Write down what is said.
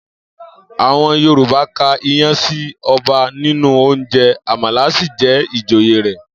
Àwo̩n Yorùbá ka iyán sí o̩ba nínú oúnje̩, àmàlà sì jé̩ ìjòyè rè̩